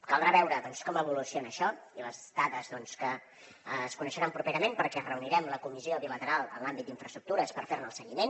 caldrà veure com evoluciona això i les dades que es coneixeran properament perquè ens reunirem la comissió bilateral en l’àmbit d’infraestructures per fer ne el seguiment